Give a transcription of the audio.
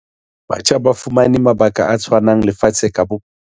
Batjha ba fumane mabaka a tshwanang lefatsheng ka bophara.